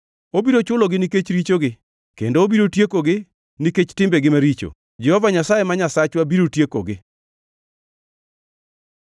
Obiro chulogi nikech richogi kendo obiro tiekogi nikech timbegi maricho; Jehova Nyasaye ma Nyasachwa biro tiekogi.